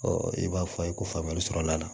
i b'a fɔ a ye ko faamuyali sɔrɔla a la